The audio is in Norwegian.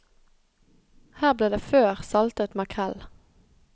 Her ble det før saltet makrell.